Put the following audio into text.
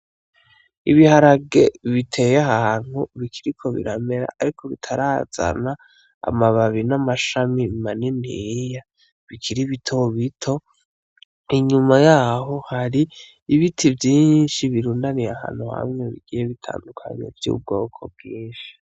Ibiharage biteye ahantu bikiriko biramera ariko bitarazana amababi n' amashami maniniya bikiri bito bito inyuma yaho hari ibiti vyinshi birundaniye ahantu hamwe bigiye bitandukanye vy' ubwoko bwinshi.